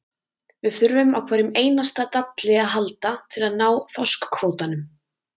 Við þurfum á hverjum einasta dalli að halda til að ná þorskkvótanum.